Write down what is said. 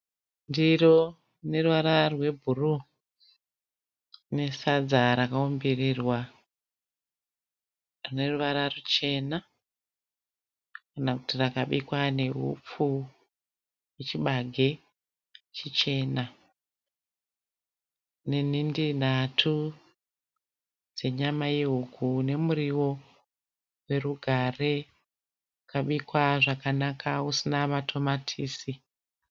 Ndiri rinoruvara rwebhuruwu, nesadza rakaumbirirwa rineruvara ruchena kana kuti rakabikwa neupfu hwechibage chichena. Nenhindi nhatu dzenyama yehuku. Nemuriwo werugare wakabikwa zvakanaka usina matomatisi.